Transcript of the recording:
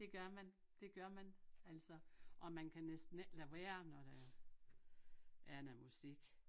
Det gør man det gør man altså og man kan næsten ikke lade være når der er er noget musik